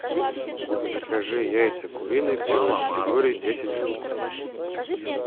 закажи яйца куриные первой категории десять штук